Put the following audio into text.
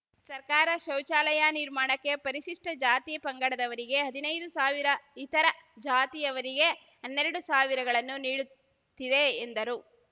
ಸರ್ಕಾರ ಶೌಚಾಲಯ ನಿರ್ಮಾಣಕ್ಕೆ ಪರಿಶಿಷ್ಟಜಾತಿ ಪಂಗಡದವರಿಗೆ ಹದಿನೈದು ಸಾವಿರ ಇತರ ಜಾತಿಯವರಿಗೆ ಹನ್ನೆರಡು ಸಾವಿರ ಗಳನ್ನು ನೀಡುತ್ತಿದೆ ಎಂದರು